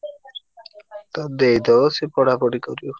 ତାକୁ ଦେଇଦବ ସେ ପଢାପଢି କରିବ।